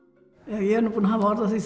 ég er búin að hafa orð á því